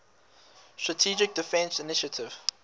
strategic defense initiative